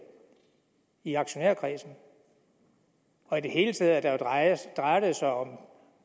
i aktionærkredsen og i det hele taget drejer drejer det sig jo om